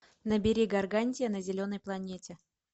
набери гаргантия на зеленой планете